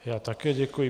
Já také děkuji.